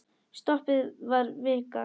Stoppið var vika.